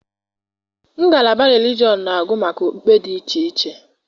Ngalaba relijọn na-agụ maka okpukpe dị iche iche.